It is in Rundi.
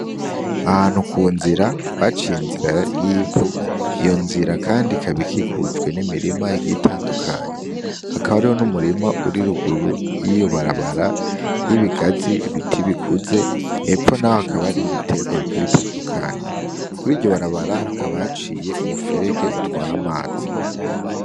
Ahantu ku nzira, baciye inzira y'ivu. Iyo nzira kandi ikaba ikikujwe n'imirima igiye itandukanye. Hakaba hariho n'umurima uri ruguru y'iyo barabara y'ibigazi bikuze, hepfo naho hakaba hariho ibiterwa bigiye bitandukanye. Kuriryo barabara hakaba haciye umuferege utwara amazi.